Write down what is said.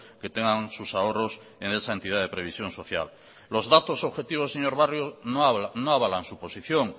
que tengan sus ahorros en esa entidad de previsión social los datos objetivos señor barrio no avalan su posición